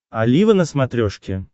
олива на смотрешке